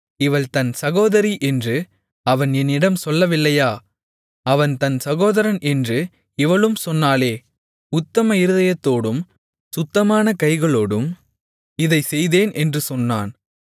இவள் தன் சகோதரி என்று அவன் என்னிடம் சொல்லவில்லையா அவன் தன் சகோதரன் என்று இவளும் சொன்னாளே உத்தம இருதயத்தோடும் சுத்தமான கைகளோடும் இதைச் செய்தேன் என்று சொன்னான்